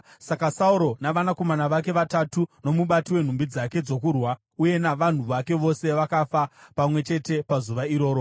Saka Sauro navanakomana vake vatatu nomubati wenhumbi dzake dzokurwa uye navanhu vake vose vakafa pamwe chete pazuva iroro.